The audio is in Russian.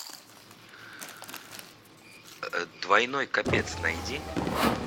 двойной копец найди